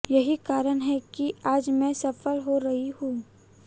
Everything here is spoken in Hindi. यही कारण है कि आज मैं सफल हो रही हूं